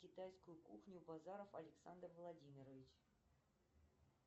китайскую кухню базаров александр владимирович